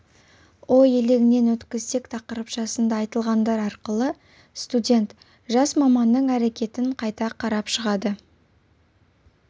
ой елегінен өткізсек тақырыпшасында айтылғандар арқылы студент жас маманның әрекетін қайта қарап шығады